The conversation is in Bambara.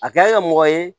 A kɛra mɔgɔ ye